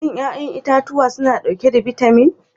Shin 'ya'yan itatuwa suna dauke da bitamin?